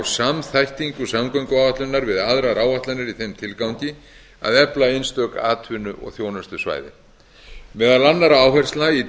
samþættingu samgönguáætlunar við aðrar áætlanir í þeim tilgangi að efla einstök atvinnu og þjónustusvæði meðal annarra áherslna í